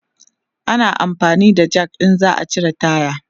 ana amfani da Jak in za'a cire taya